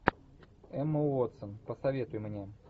эмма уотсон посоветуй мне